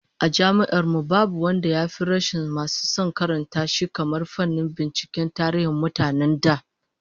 A Jami'ar mu, babu fannin da ya fi rashin masu son karanta shi kamar fannin binciken tarihin mutanen da